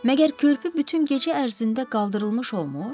Məgər körpü bütün gecə ərzində qaldırılmış olmur?